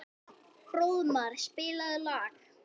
Fróðmar, spilaðu lag.